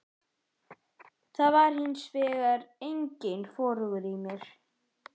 Það var hins vegar enginn vorhugur í mér.